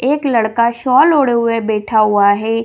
एक लड़का शॉल ओढ़े हुए बैठा हुआ है।